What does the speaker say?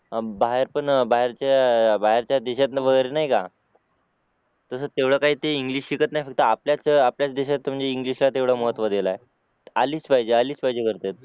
बाहेर पण बाहेरच्या देशात वगैरे नाही का तर तेवढं काही ते इंग्लिश शिकत नाहीत फक्त आपल्याच देशात इंग्लिश ला तेवढं महत्त्व दिला आहे आलीच पाहिजे आलीच पाहिजे करतात